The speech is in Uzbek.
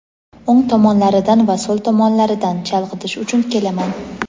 o‘ng tomonlaridan va so‘l tomonlaridan (chalg‘itish uchun) kelaman.